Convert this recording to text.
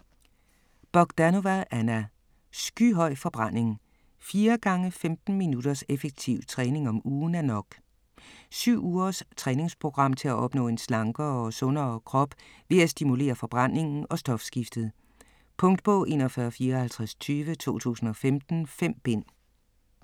Bogdanova, Anna: Skyhøj forbrænding: 4×15 minutters effektiv træning om ugen er nok Syv ugers træningsprogram til at opnå en slankere og sundere krop ved at stimulere forbrændingen og stofskiftet. Punktbog 415420 2015. 5 bind.